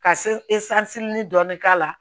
Ka dɔɔnin k'a la